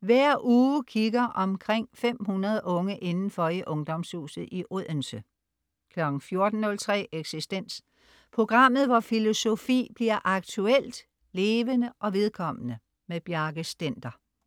Hver uge kigger omkring 500 unge indenfor i Ungdomshuset i Odense 14.03 Eksistens. Programmet hvor filosofi bliver aktuelt, levende og vedkommende. Bjarke Stender